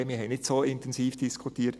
Wir haben nicht so intensiv diskutiert.